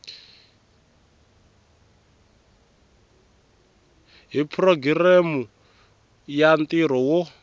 hi programu ya ntirho wo